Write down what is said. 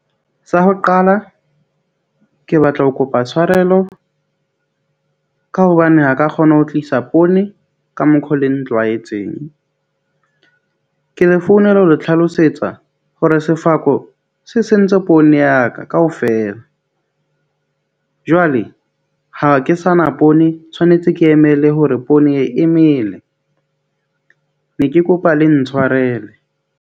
Sa ho qala ke batla ho kopa tshwarelo ka hobane ha ka kgona ho tlisa poone ka mokgo le ntlwaetseng. Ke le founela ho le tlhalosetsa hore sefako se sentse poone ya ka kaofela. Jwale ha ke sa na poone, tshwanetse ke emele hore poone e emele. Ne ke kopa le ntshwarele.